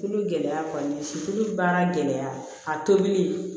Tulu gɛlɛya kɔni si kolo baara gɛlɛya a tobili